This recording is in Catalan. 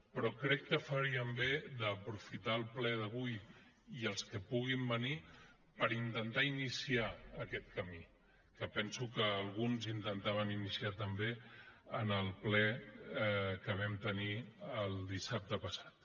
però crec que faríem bé d’aprofitar el ple d’avui i els que puguin venir per intentar iniciar aquest camí que penso que alguns intentaven iniciar també en el ple que vam tenir dissabte passat